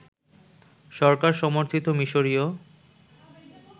সরকার সমর্থিত মিশরীয়